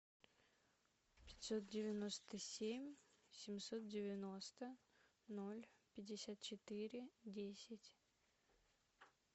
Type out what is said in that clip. пятьсот девяносто семь семьсот девяносто ноль пятьдесят четыре десять